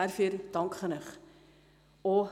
Dafür danke ich Ihnen.